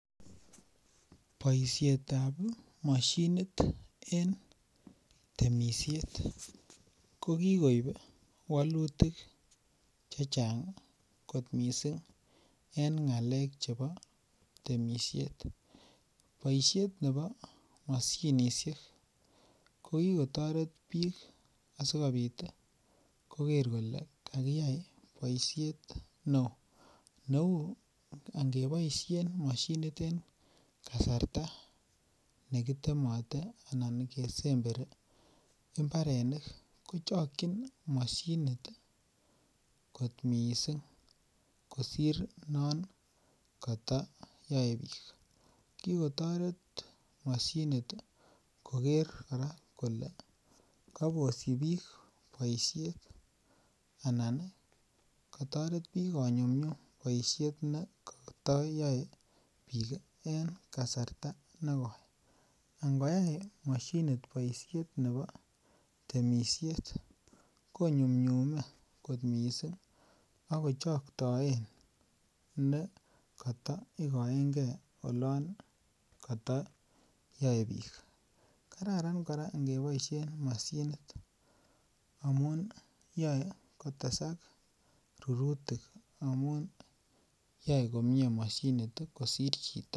Boisiet ab mashinit en temisiet ko koib wolutik Che Chang kot mising en ngalek Che chebo temisiet boisiet nebo mashinisiek ko ki kotoret bik asikobit ii koger kole kakiyai boisiet neo neu angeboisien mashinit en kasarta nekitemote Anan kesemberi ko chokyin kot mising kosir non koto yoe bik ki kotoret mashinit koger kora kole kabosyi bik boisyet anan kotoret bik komyumnyum boisiet non koto yoe bik en kasarta negoi angoyai mashinisit boisiet nebo temisiet ko nyumnyume mising ak kochkotoen nekata igoen gee olon koto yoe bik kararan kora angeboisien mashinit amun yoe kotesak rurutik amun yoe komie mashinit kosir chito